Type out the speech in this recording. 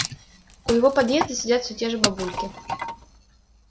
у его подъезда сидят все те же бабульки